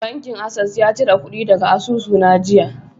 Bankin Access ya cire kudi daga asusuna jiya.